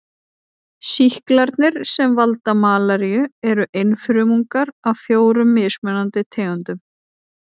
Sýklarnir sem valda malaríu eru einfrumungar af fjórum mismunandi tegundum.